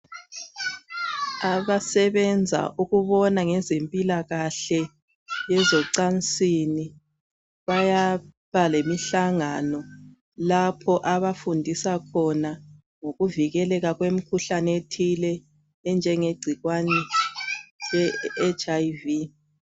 Abasebenza ukubona ngezempilakahle yezocansini bayabalemihlangano lapho abafundisa khona ngokuvikeleka kwemkhuhlane ethile enjenge gcikwane le HIV .